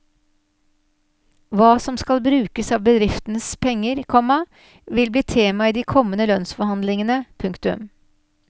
Hva som skal brukes av bedriftenes penger, komma vil bli tema i de kommende lønnsforhandlingene. punktum